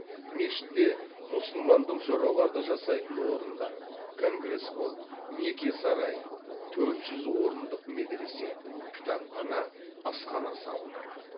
мешітте мұсылмандық жораларды жасайтын орындар конгресс холл неке сарайы төрт жүз орындық медресе кітапхана асхана салынады